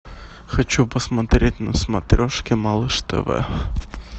хочу посмотреть на смотрешке малыш тв